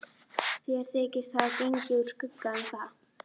Þeir þykjast hafa gengið úr skugga um það.